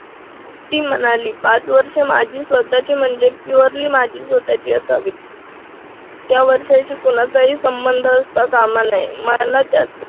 ती म्हणाली पाच वर्षे माझी स्वतःची म्हणजे purely माझी स्वतःची असावी. त्या वर्षाशी कोणाचाही संबंध असता कामा नये मला त्याचा